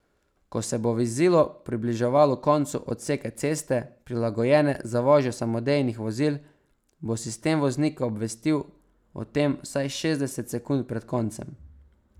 Ko se bo vozilo približevalo koncu odseka ceste, prilagojene za vožnjo samodejnih vozil, bo sistem voznika obvestil o tem vsaj šestdeset sekund pred koncem.